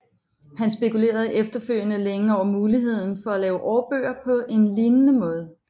Han spekulerede efterfølgende længe over muligheden for at lave årbøger på en lignende måde